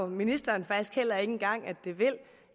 ministeren faktisk heller ikke engang